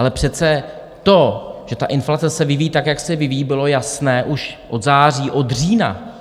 Ale přece to, že ta inflace se vyvíjí tak, jak se vyvíjí, bylo jasné už od září, od října.